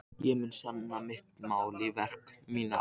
Ég mun sanna mitt mál í verki, mína ást.